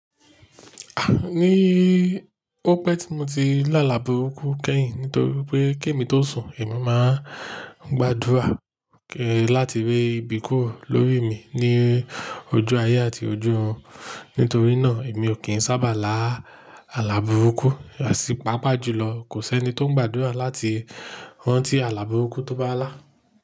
Ah ní ó pé tí mo ti lá làbúrúkú kẹ́yìn nítorí pé kí èmi tó sùn, èmi máa ń gbàdúrà láti rè ìbíkó lórí mi ní ojú ayé àti ojú ọ̀run. Nítorí náà èmi ò kí ń sábà lá àlàbúrúkú àsìpá pàjùlọ. Kò sẹ́ni tó ń gbàdúrà láti rán tí àlàbúrúkú tó bá lá.